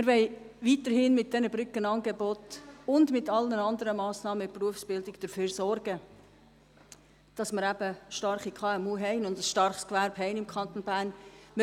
Wir wollen weiterhin mit diesen Brückenangeboten und mit allen anderen Massnahmen in der Berufsbildung dafür sorgen, dass wir starke KMU und ein starkes Gewerbe im Kanton Bern haben.